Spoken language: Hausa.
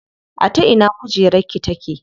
A ta ina kujerar ki take?